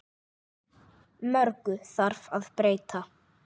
Mörgu þarf að breyta.